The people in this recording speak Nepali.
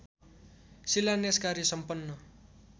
शिलान्यास कार्य सम्पन्न